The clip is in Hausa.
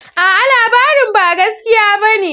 A'a! labarin ba gaskiya bane.